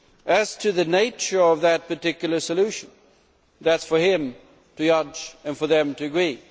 As to the nature of the particular solution, that is for him to judge and for them to agree.